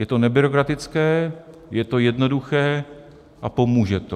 Je to nebyrokratické, je to jednoduché a pomůže to.